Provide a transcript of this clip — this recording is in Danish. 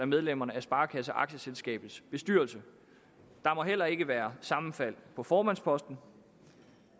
medlemmerne af sparekasseaktieselskabets bestyrelse der må heller ikke være sammenfald på formandsposten